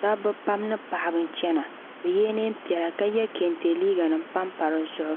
Dabba pam ni paɣaba n chena bɛ yela niɛnpiɛlla ka ye kante liiga nima m pampa di zuɣu